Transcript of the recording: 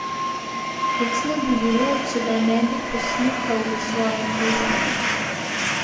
Hecno bi bilo, če ga ne bi poslikal v svojem duhu.